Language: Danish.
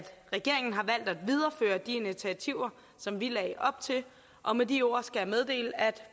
regeringen har valgt at videreføre de initiativer som vi lagde op til og med de ord skal jeg meddele at